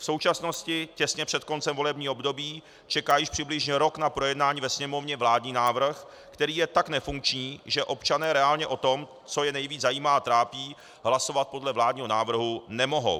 V současnosti, těsně před koncem volebního období, čeká již přibližně rok na projednání ve Sněmovně vládní návrh, který je tak nefunkční, že občané reálně o tom, co je nejvíce zajímá a trápí, hlasovat podle vládního návrhu nemohou.